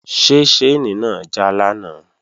Ṣé ṣáìnì náà já lánàá?